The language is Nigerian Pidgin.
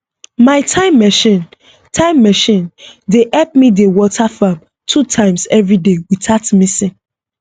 my time machine time machine dey help me dey water farm two times every day without missing